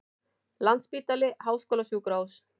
Landspítali Háskólasjúkrahús.